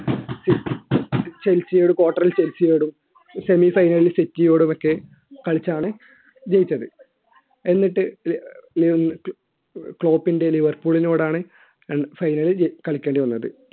ചെൽസിയോടും quarter ൽ ചെൽസിയോടും semi final ലിൽ സെറ്റിയോടും ഒക്കെ കളിച്ചാണ് ജയിച്ചത് എന്നിട്ട് ലിവർപൂളിനോടും final ലിൽ കളിക്കേണ്ടി വന്നത്